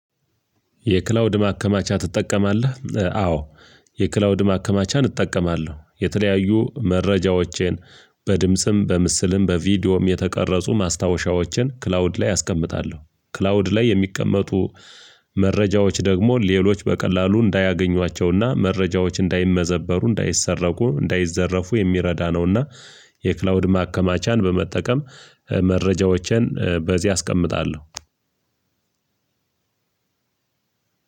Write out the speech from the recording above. የክላውድ ማከማቻ ትጠቀማለህ? አዎ የክላውድ ማከማቻን እጠቀማለሁ የተለያዩ መረጃዎችን በድምጽም በምስልም በቪዲዮም የተቀረጹ ማስታወሻዎችን ክላውድ ላይ አስቀምጣለሁ። ክላውድ ላይ የሚቀመጡ መረጃዎች ደግሞ ሌሎች በቀላሉ እንዳያገኟቸውና መረጃዎች እንዳይመዘበሩ እንዳይሰረቁ እንዳይዘረፉ የሚረዳ ነውና። የክላውድ ማከማቻን በመጠቀም መረጃዎችን በዚህ አስቀምጣለሁ።